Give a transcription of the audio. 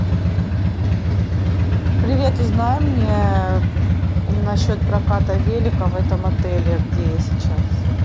привет узнай мне насчет проката велика в этом отеле где я сейчас